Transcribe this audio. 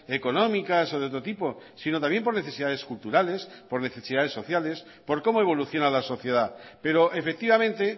económicas o de otro tipo sino también por necesidades culturales por necesidades sociales por cómo evoluciona la sociedad pero efectivamente